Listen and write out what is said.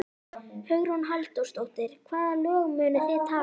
Hugrún Halldórsdóttir: Hvaða lög munuð þið taka?